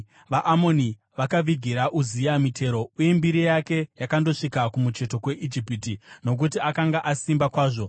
VaAmoni vakavigira Uzia mitero, uye mbiri yake yakandosvika kumucheto kweIjipiti nokuti akanga asimba kwazvo.